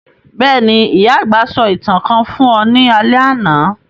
Béèni, ìyà-àgbà sọ ​​ìtàn kan fun ọ ni alẹ́ àná